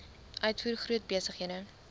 uitvoer groot besighede